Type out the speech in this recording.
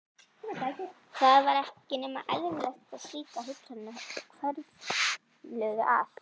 Það var ekki nema eðlilegt að slíkar hugsanir hvörfluðu að